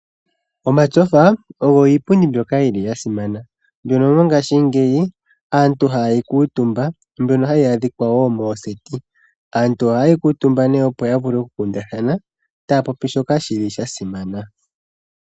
Omatyofa ogo iipundi mbyoka ya simana. Mbyono mongaashingeyi aantu haye yi kuutumba mbyono hayi adhika woo mooseti. Aantu oha ye yi kuutumba nee opo ya vule oku kundathana taya popi shoka sha simana.